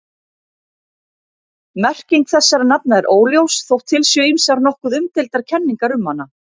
Merking þessara nafna er óljós þótt til séu ýmsar nokkuð umdeildar kenningar um hana.